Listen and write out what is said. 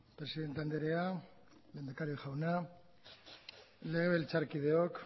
presidente andrea lehendakari jauna legebiltzarkideok